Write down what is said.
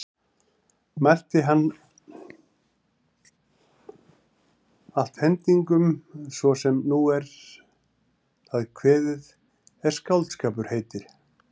Mælti hann allt hendingum svo sem nú er það kveðið er skáldskapur heitir.